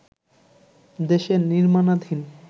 দেশের নির্মাণাধীন